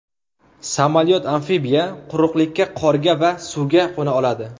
Samolyot-amfibiya quruqlikka, qorga va suvga qo‘na oladi.